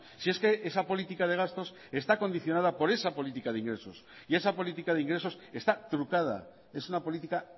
si es que esa política de gastos está condicionada por esa política de ingresos y esa política de ingresos está trucada es una política